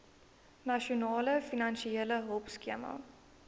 nasionale finansiële hulpskema